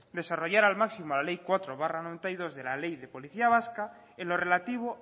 desarrollar al máximo la ley cuatro barra mil novecientos noventa y dos de la ley de policía vasca en lo relativo